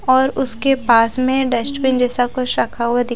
और उसके पास में डस्टबिन जैसा कुछ रखा हुआ दि--